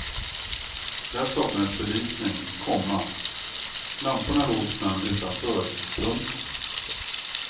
Där saknades belysning, komma lamporna låg i snön utanför. punkt